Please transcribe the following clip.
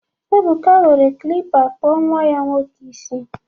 Ebuka were klịppa kpụọ nnwa ya nwoke isi